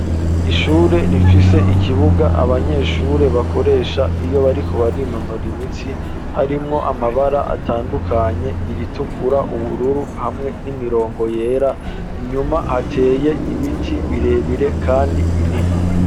Ishure rifise ikibuga abanyeshure bakoresha iyo bariko barinonora imitsi harimwo amabara atandukanye iritukura, ubururu hamwe n'imirongo yera inyuma hateye ibiti birebire kandi binini.